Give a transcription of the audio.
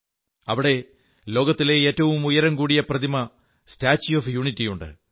അവിടെ ലോകത്തിലെ ഏറ്റഴും ഉയരും കൂടിയ പ്രതിമ സ്റ്റാച്യൂ ഓഫ് യൂണിറ്റിയുണ്ട്